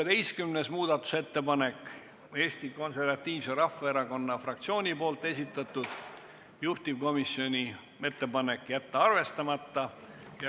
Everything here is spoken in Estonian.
16. muudatusettepaneku on esitanud Eesti Konservatiivse Rahvaerakonna fraktsioon, juhtivkomisjoni ettepanek on jätta see arvestamata.